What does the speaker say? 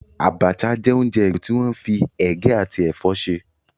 Abacha jẹ́ oúnjẹ igbó tí wọ́n fi ege àti ẹ̀fọ́ ṣe.